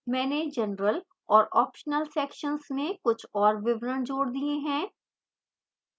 मैंने general और optional sections में कुछ और विवरण जोड़ दिए हैं